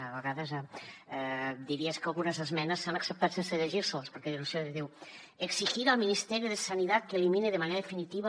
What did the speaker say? a vegades diries que algunes esmenes s’han acceptat sense llegir seles perquè diu exigir al ministerio de sanidad que elimine de manera definitiva